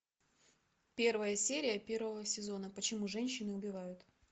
первая серия первого сезона почему женщины убивают